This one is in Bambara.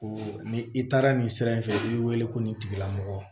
Ni i taara nin sira in fɛ i b'i wele ko nin tigilamɔgɔ